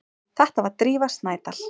Þetta var Drífa Snædal.